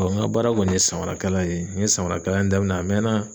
n ka baara kɔni ye samarakala ye n ye samarakalan in daminɛn a mɛn na.